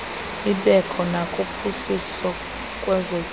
ibekho nakuphuhliso lwezotyelelo